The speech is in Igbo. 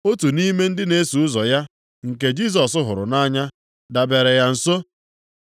Otu nʼime ndị na-eso ụzọ ya nke Jisọs hụrụ nʼanya dabere ya nso.